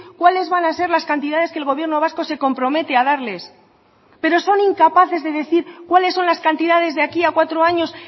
cuáles van a ser las cantidades que el gobierno vasco se compromete a darles pero son incapaces de decir cuáles son las cantidades de aquí a cuatro años